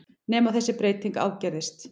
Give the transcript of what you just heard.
Nema þessi breyting ágerðist.